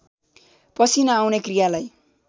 पसिना आउने क्रियालाई